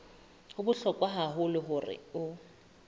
ho bohlokwa haholo hore o